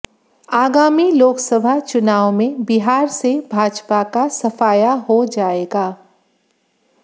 आगामी लोकसभा चुनाव में बिहार से भाजपा का सफाया हो जाएगा